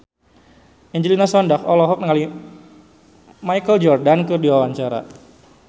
Angelina Sondakh olohok ningali Michael Jordan keur diwawancara